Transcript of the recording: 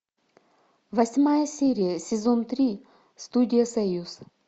восьмая серия сезон три студия союз